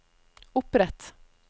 opprett